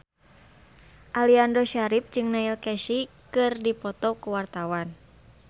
Aliando Syarif jeung Neil Casey keur dipoto ku wartawan